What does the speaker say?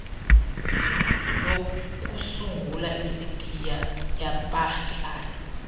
yokusungula isitiya yabahlali